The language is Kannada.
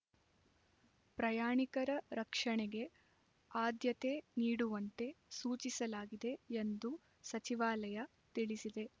ಪ್ರಯಾಣಿಕರ ರಕ್ಷಣೆಗೆ ಆದ್ಯತೆ ನೀಡುವಂತೆ ಸೂಚಿಸಲಾಗಿದೆ ಎಂದು ಸಚಿವಾಲಯ ತಿಳಿಸಿದೆ